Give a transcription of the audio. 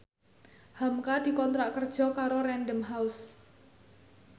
hamka dikontrak kerja karo Random House